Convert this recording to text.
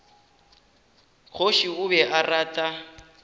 kgoši o be a rata